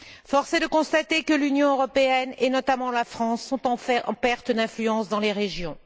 Force est de constater que l'Union européenne et notamment la France sont en fait en perte d'influence dans les régions.